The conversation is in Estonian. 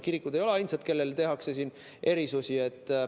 Kirikud ei ole ainsad, kellele tehakse erandeid.